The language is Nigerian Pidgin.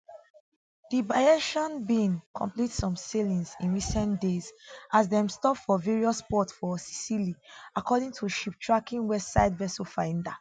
di bayesian bin complete some sailings in recent days as dem stop for various ports for sicily according to shiptracking website vesselfinder